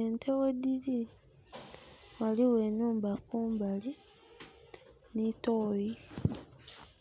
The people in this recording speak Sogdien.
Ente ghedhili, ghaligho enhumba kumbali, ni toyi.